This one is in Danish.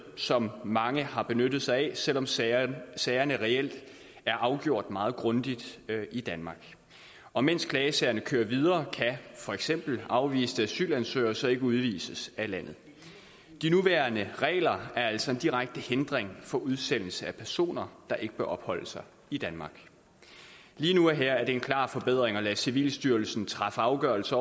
som mange har benyttet sig af selv om sagerne sagerne reelt er afgjort meget grundigt i danmark og mens klagesagerne kører videre kan for eksempel afviste asylansøgere så ikke udvises af landet de nuværende regler er altså en direkte hindring for udsendelse af personer der ikke bør opholde sig i danmark lige nu og her er det en klar forbedring at lade civilstyrelsen træffe afgørelse